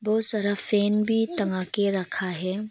बहुत सारा फैन भी टंगा के रखा है।